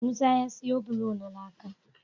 Musa ya siya bulo na laka